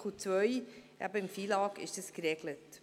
Dies ist in Artikel 2 FILAG geregelt.